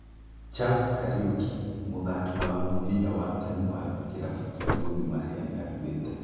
Charles Kariuki: Mũthaki wa mũbira wa tene wa kĩrabu kĩa Gor Mahia nĩ akuĩte